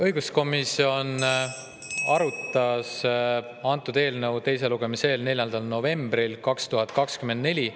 Õiguskomisjon arutas eelnõu teise lugemise eel 4. novembril 2024.